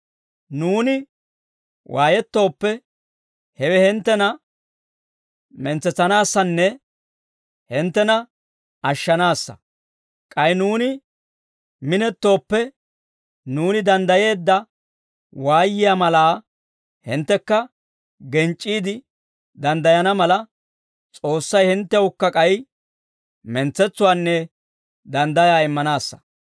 Nuuni waayettooppe, hewe hinttena mentsetsanaassanne hinttena ashshanaassa; k'ay nuuni minettooppe, nuuni danddayeedda waayiyaa malaa hinttekka genc'c'iide danddayana mala, S'oossay hinttewukka k'ay mentsetsuwaanne danddayaa immanaassa.